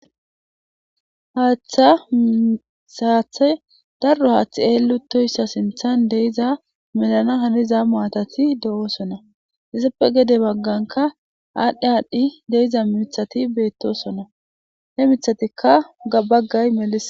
haatha msaathay darro haaththi eelutoyssa sinthan deiza melana haniza mu atati de7oosonna yesappe gede bagganka aadhdhi aadhdhi deiza miithati beettosonna he mithatikka gabaggay meli